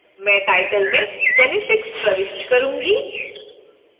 मैं title में genetics प्रविष्ट करूंगी